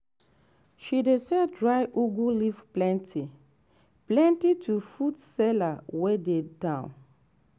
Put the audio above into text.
she dey sell dry ugu leaf plenty-plenty to food seller wey dey town.